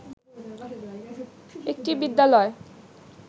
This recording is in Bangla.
একটি বিদ্যালয়